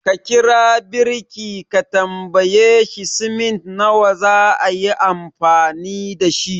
Ka kira birki ka tambaye shi cement nawa zaayi amfani dashi